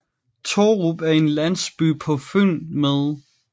Tårup er en landsby på Fyn med